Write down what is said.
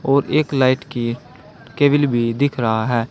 और एक लाइट की केबल भी दिख रहा है।